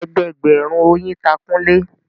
Ẹgbẹẹgbẹ̀rún oyin ta Kunle